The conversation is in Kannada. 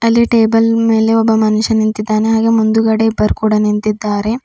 ಅಲ್ಲಿ ಟೇಬಲ್ ಮೆಲೆ ಒಬ್ಬ ಮನುಷ್ಯ ನಿಂತಿದ್ದಾನೆ ಹಾಗೆ ಮುಂದುಗಡೆ ಇಬ್ಬರ್ ಕೂಡ ನಿಂತಿದ್ದಾರೆ.